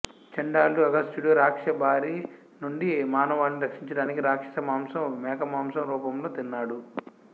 చంఢాలుడు అగస్త్యుడు రాక్షస బారి నుండి మానవాళిని రక్షించడానికి రాక్షస మాంసం మేకమాంస రూపంలో తిన్నాడు